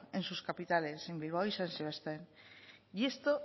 en sus capitales en bilbao y san sebastián y esto